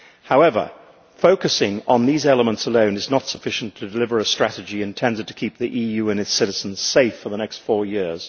However, focusing on these elements alone is not sufficient to deliver a strategy intended to keep the EU and its citizens safe for the next four years.